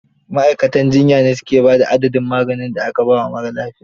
Ma'aikatan jiyya ne su ke ba da adadin maganin da aka ba wa marar lafiya.